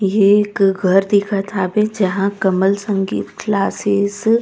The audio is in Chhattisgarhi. ये एक घर दिखत हे जहां कमल संगीत क्लासेज --